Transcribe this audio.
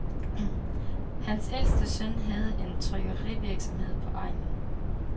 Hans ældste søn havde en trykkerivirksomhed på egnen.